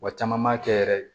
Wa caman b'a kɛ yɛrɛ